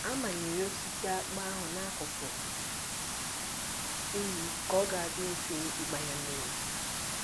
A manyere osisi akpụ ahụ n'akụkụ iyi ka ọ ga-adị mfe ịgba ya mmiri